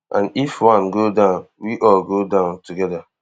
and if one go down we all go down togeda